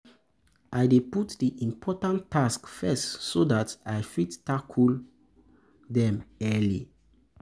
I dey put di important tasks first so dat i fit tackle i fit tackle dem early.